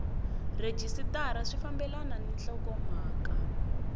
rhejisitara swi fambelana ni nhlokomhaka